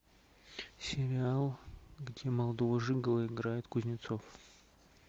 сериал где молодого жиголо играет кузнецов